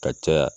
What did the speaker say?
Ka caya